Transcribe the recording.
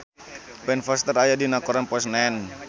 Ben Foster aya dina koran poe Senen